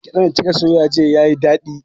Gyaɗan da kika soya jiya yayi daɗi